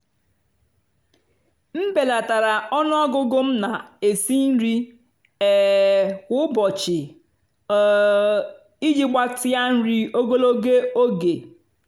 m bèlátárá ónú ọ́gụ́gụ́ m nà-èsì nrì um kwá ụ́bọ̀chị́ um ìjì gbàtíá nrì ógològó ógè.